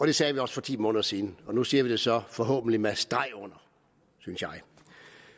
det sagde vi også for ti måneder siden og nu siger vi det så forhåbentlig med streg under